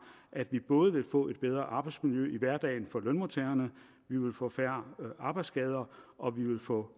at vi både vil få et bedre arbejdsmiljø i hverdagen for lønmodtagerne at vi vil få færre arbejdsskader og at vi vil få